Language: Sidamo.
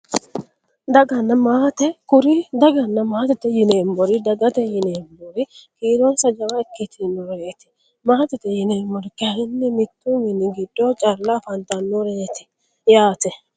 Daganna maate kuri daganna maatete yineemmori dagate yineemmori kiironsa jawa ikkitinoreeti maatete yineemmori kayinni mittu mini giddo calla afantannoreeti yaate